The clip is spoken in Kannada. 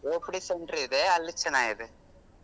OPD center ಇದೆ ಅಲ್ಲಿ ಚೆನ್ನಾಗಿದೆ.